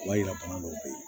O b'a yira bana dɔw bɛ ye